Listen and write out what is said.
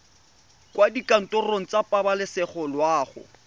kwa dikantorong tsa pabalesego loago